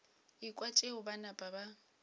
ekwa tšeo ba napa ba